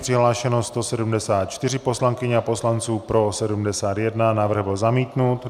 Přihlášeno 174 poslankyň a poslanců, pro 71, návrh byl zamítnut.